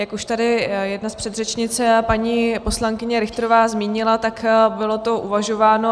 Jak už tady jedna z předřečnic, paní poslankyně Richterová, zmínila, tak bylo to uvažováno.